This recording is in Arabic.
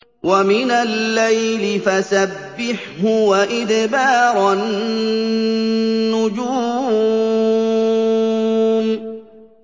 وَمِنَ اللَّيْلِ فَسَبِّحْهُ وَإِدْبَارَ النُّجُومِ